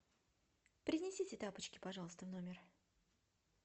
принесите тапочки пожалуйста в номер